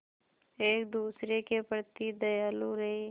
एक दूसरे के प्रति दयालु रहें